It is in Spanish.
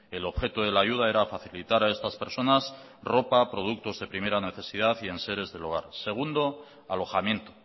el objeto de la ayuda era facilitar a estas personas ropa productos de primera necesidad y enseres del hogar segundo alojamiento